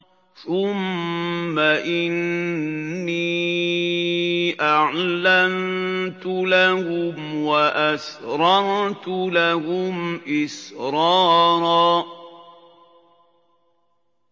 ثُمَّ إِنِّي أَعْلَنتُ لَهُمْ وَأَسْرَرْتُ لَهُمْ إِسْرَارًا